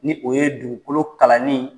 Ni o ye dugukolo kalanni